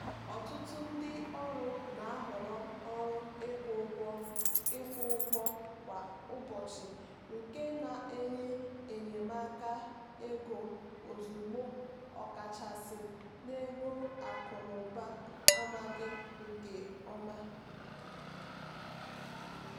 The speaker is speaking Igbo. ọtụtụ ndị ọrụ na-ahọrọ ọrụ ịkwụ ụgwọ ịkwụ ụgwọ kwa ụbọchị nke na-enye enyemaka ego ozugbo ọkachasị n'oge akụ n'ụba amaghị nke ọma.